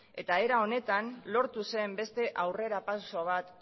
eta era honetan lortu zen beste aurrera pauso bat